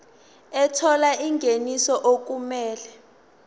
ethola ingeniso okumele